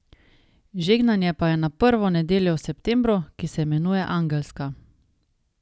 Žegnanje pa je na prvo nedeljo v septembru, ki se imenuje angelska.